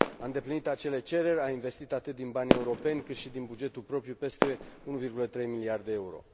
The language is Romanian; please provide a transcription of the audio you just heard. A îndeplinit acele cereri, a investit atât din bani europeni, cât și din bugetul propriu peste 1,3 miliarde de euro.